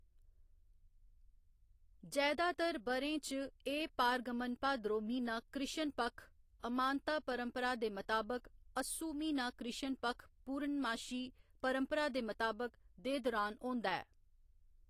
जैदातर ब'रें च, एह्‌‌ पारगमन भाद्रो म्हीना कृष्ण पक्ख, अमांता परंपरा दे मताबक, अस्सू म्हीना कृष्ण पक्ख पूरणमाशी परंपरा दे मताबक, दे दुरान होंदा ऐ।